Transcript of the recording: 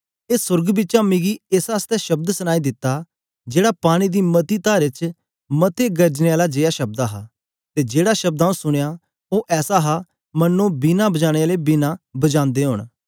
ए सोर्ग बिचा मिगी एक ऐसा शब्द सनाई दित्ता जेड़ा पानी दी मती तारें च मते गरजने आले जेया शब्द हा ते जेड़ा शब्द आऊँ सुनया ओ ऐसा हा मन्नो वीणा बजाने आले वीणा बजादे ओन